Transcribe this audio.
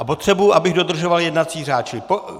A potřebuji, abych dodržoval jednací řád.